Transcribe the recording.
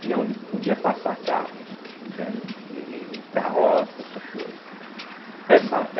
e aonde podia passar carro, né, entende, e carroça, essas coisas. Essa